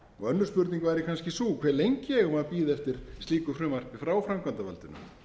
önnur spurning væri kannski sú hve lengi eigum við að bíða eftir slíku frumvarpi frá framkvæmdarvaldinu